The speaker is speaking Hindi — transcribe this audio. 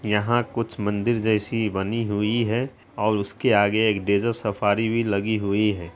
यहाँ कुछ मंदिर जैसी बनी हुई है और उसके आगे एक डेजर्ट सफारी भी लगी हुई है।